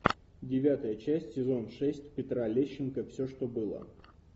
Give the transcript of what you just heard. девятая часть сезон шесть петра лещенко все что было